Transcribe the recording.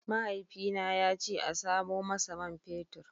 Mahaifina ya ce in samo masa man fetur.